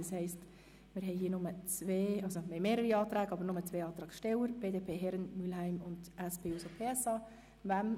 Das heisst, wir haben zwar mehrere Anträge, aber nur zwei Antragsteller, nämlich BDP/Herren und Mühlheim/glp sowie SP-JUSO-PSA/Dunning.